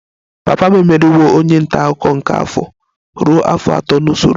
Papa m emeriwo onye nta akụkọ nke afọ ruo afọ atọ n'usoro